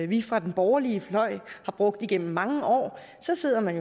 vi fra den borgerlige fløj har brugt gennem mange år så sidder man